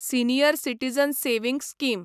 senior citizen savings scheme